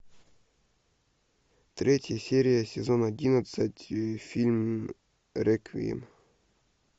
третья серия сезон одиннадцать фильм реквием